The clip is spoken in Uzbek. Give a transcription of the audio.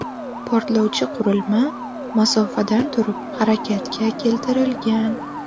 Portlovchi qurilma masofadan turib harakatga keltirilgan.